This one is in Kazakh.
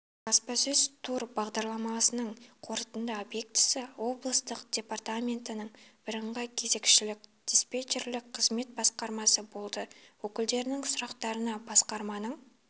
баспасөз тур бағдарламасының қорытынды объектісі облыстың департаментінің бірыңғай кезекшілік диспетчерлік қызмет басқармасы болды өкілдерінің сұрақтарына басқарманың